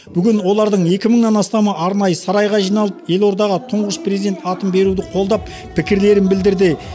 бүгін олардың екі мыңынан астамы арнайы сарайға жиналып елордаға тұңғыш президент атын беруді қолдап пікірлерін білдірді